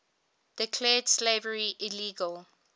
declared slavery illegal